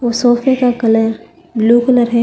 वो सोफे का कलर ब्लू कलर है।